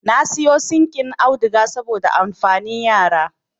Na sayo sinƙin auduga saboda amfanin yara